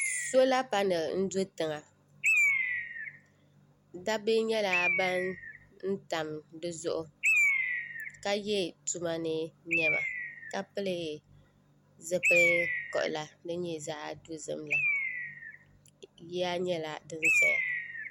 Sola panali n do tiŋa dabba nyɛla ban tam di zuɣu ka ye tumani niɛma ka pili zipil'kiɣila din nyɛ zaɣa dozim la yiya nyɛla din zaya .